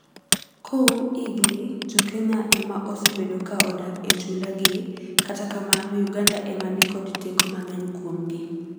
Koum higni, jokenya ema osebedo ka odak e chula gi. Kata kamano Uganda emani kod teko mangeny kuomgi.